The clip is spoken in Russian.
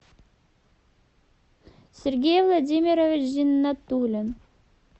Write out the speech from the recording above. сергей владимирович зиннатулин